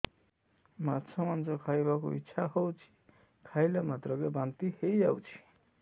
ମାଛ ମାଂସ ଖାଇ ବାକୁ ଇଚ୍ଛା ହଉଛି ଖାଇଲା ମାତ୍ରକେ ବାନ୍ତି ହେଇଯାଉଛି